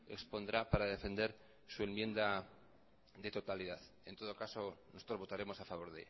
expondrá para defender su enmienda de totalidad en todo caso nosotros votaremos a favor